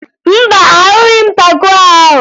Mba, ahụghị m taco ahụ